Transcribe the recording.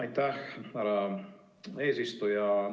Aitäh, härra eesistuja!